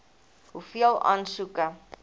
hoeveel aansoeke